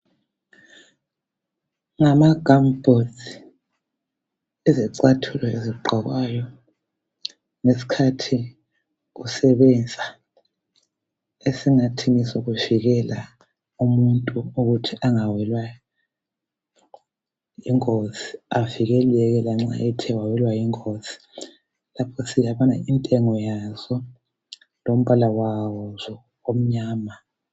ngama gumboots izicathulo ezigqokwayo ngesikhathi usebenza esingathi ngesokuvikela umuntu ukuthi angawelwa yinozi avikeleke nxa ethe wawelwa yingozi intengo yaso lombala waso umnyama